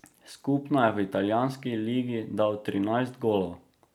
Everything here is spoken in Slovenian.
Skupno je v italijanski ligi dal trinajst golov.